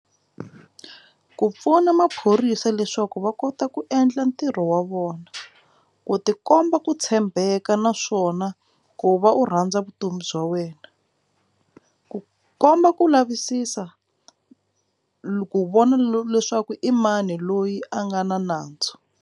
Ku pfuna maphorisa leswaku va kota ku endla ntirho wa vona ku tikomba ku tshembeka naswona ku va u rhandza vutomi bya wena ku komba ku lavisisa ku vona leswaku i mani loyi a nga na nandzu.